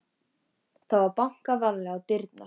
Það var bankað varlega á dyrnar.